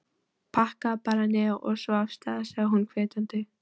Pakkaðu bara niður, og svo af stað! sagði hún hvetjandi.